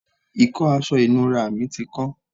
ìkọ́ aṣọ ìnura mi ti kán